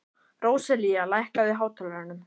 Róselía, lækkaðu í hátalaranum.